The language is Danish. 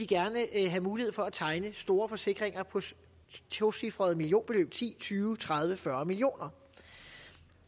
gerne vil have mulighed for at tegne store forsikringer på tocifrede millionbeløb ti tyve tredive fyrre million kroner